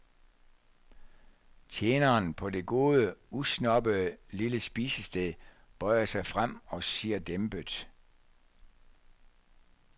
Tjeneren på det gode, usnobbede lille spisested bøjer sig frem og siger dæmpet.